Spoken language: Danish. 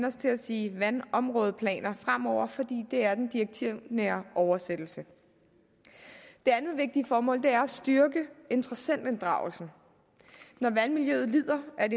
os til at sige vandområdeplaner fremover fordi det er den direktivnære oversættelse det andet vigtige formål er at styrke interessentinddragelsen når vandmiljøet lider er